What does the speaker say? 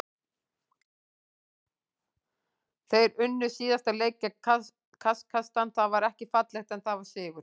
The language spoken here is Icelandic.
Þeir unnu síðasta leik gegn Kasakstan, það var ekki fallegt en það var sigur.